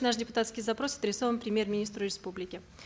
наш депутатский запрос адресован премьер министру республики